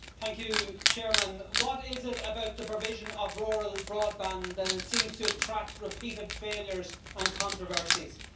Mr President, what is it about the provision of rural broadband that it seems to attract repeated failures and controversies?